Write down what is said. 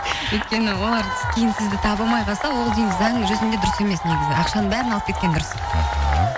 өйткені олар кейін сізді таба алмай қалса ол деген заң жүзінде дұрыс емес негізі ақшаның бәрін алып кеткен дұрыс іхі